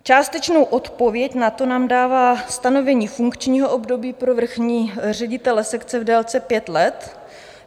Částečnou odpověď na to nám dává stanovení funkčního období pro vrchní ředitele sekce v délce pěti let.